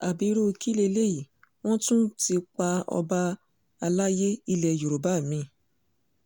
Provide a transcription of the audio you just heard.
ábírú kí leléyìí wọ́n tún ti pa ọba àlàyé ilẹ̀ yorùbá mi